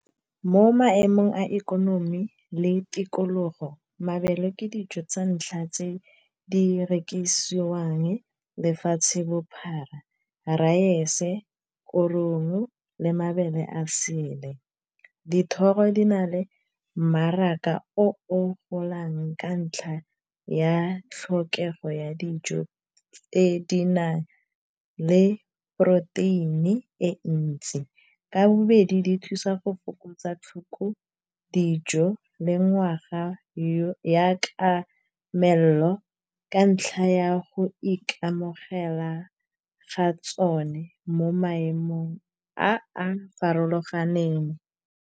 Mo maemong a ikonomi le tikologo mabele ke dijo tsa ntlha tse di rekisiwang lefatshe bophara raese korong le mabele a sele dithoro di na le mmaraka o golang ka ntlha ya tlhokego ya dijo tse di nang le poroteini e ntsi, ka bobedi di thusa go fokotsa tlhoko dijo le ngwaga ya ka melelo ka ntlha ya go ikamogela ga tsone mo maemong a a farologaneng.